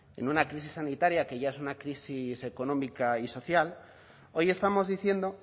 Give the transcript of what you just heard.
en una crisis sanitaria que ya es una crisis económica y social hoy estamos diciendo